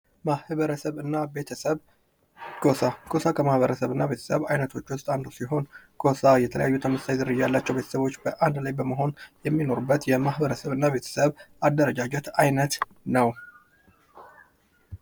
ማህበርሰብ እና ቤተሰብ፦ ጎሳ፦ ጎሳ ከማህበረሰብና ቤተሰብ አይነቶች ዉስጥ አንዱ ሲሆን ጎሳ የተለያዩ ዝርያ ካላቸው ዉስጥ የተመሳሳይ አንድ ላይ የሚኖሩበት አንዱ የማህበረስብ እና ቤተስብ አንዱ ነው።